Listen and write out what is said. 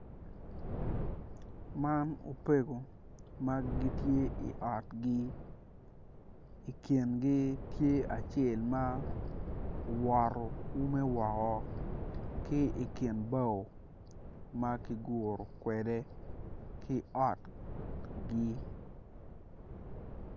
Man opego ma gitye i otgi ikingi tye acel ma owoto ume woko ki ikin bao ma kiguro kwede ki otgi.